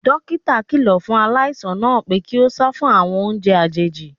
Dókítà kíló fún aláìsàn náà pé kí ó sá fún àwọn oúnjẹ àjòjì.